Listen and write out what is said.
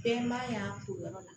Bɛɛ man y'an to yɔrɔ la